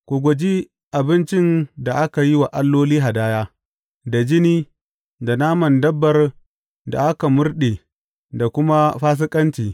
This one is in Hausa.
Ku guji abincin da aka yi wa alloli hadaya, da jini, da naman dabbar da aka murɗe da kuma fasikanci.